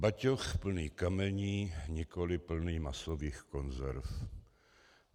Batoh plný kamení, nikoli plný masových konzerv.